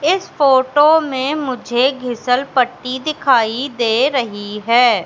इस फोटो में मुझे घीसल पट्टी दिखाई दे रही है।